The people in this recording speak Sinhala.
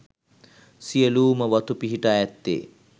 සියලූම වතු පිහිටා ඇත්තේ